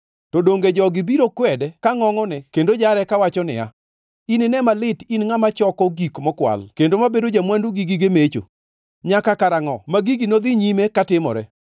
“To donge jogi biro kwede ka ngʼongʼone kendo jare kawacho niya, “ ‘Inine malit in ngʼama choko gik mokwal kendo mabedo ja-mwandu gi gige mecho. Nyaka karangʼo ma gigi nodhi nyime katimore?’